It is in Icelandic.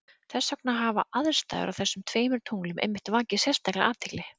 þess vegna hafa aðstæður á þessum tveimur tunglum einmitt vakið sérstaka athygli